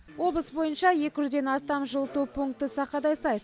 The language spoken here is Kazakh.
облыс бойынша екі жүзден астам жылыту пункті сақадай сай